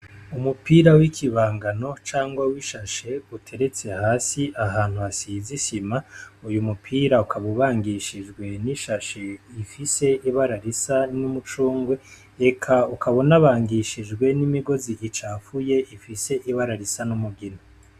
Umupira wikibangano canke w'ishashi uteretse hasi ahantu hasize isima uyu mupira ukaba ubangishijwe n'ishashi ifise ibara risa n'umucungwe eka ukaba unabangishijwe n'imigozi icafuye ifise ibara risa n'umugina.